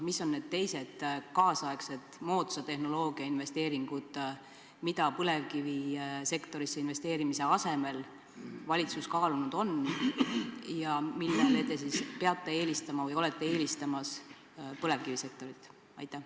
Mis on need teised kaasaegsed moodsa tehnoloogia investeeringud, mida põlevkivisektorisse investeerimise asemel valitsus kaalunud on ja millele te siis peate eelistama või olete eelistamas põlevkivisektorit?